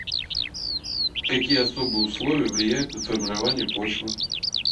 какие особые условия влияют на формирование почвы